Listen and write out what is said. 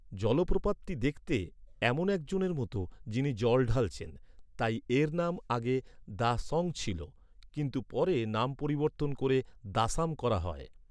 জলপ্রপাতটি দেখতে, এমন একজনের মতো, যিনি জল ঢালছেন। তাই এর নাম আগে, ‘দা সং’ ছিল। কিন্তু পরে নাম পরিবর্তন করে দাসাম করা হয়।